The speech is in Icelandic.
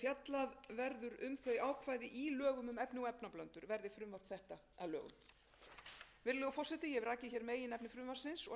þau ákvæði í lögum um efni og efnablöndur verði frumvarp þetta að lögum virðulegur forseti ég hef rakið hér meginefni frumvarpsins